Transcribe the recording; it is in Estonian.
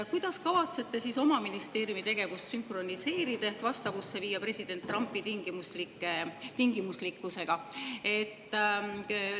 Kuidas kavatsete oma ministeeriumi tegevust sünkroniseerida ehk vastavusse viia president Trumpi tingimuslikkusega?